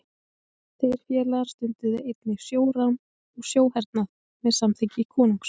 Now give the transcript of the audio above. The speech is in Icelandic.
Þeir félagar stunduðu einnig sjórán og sjóhernað með samþykki konungs.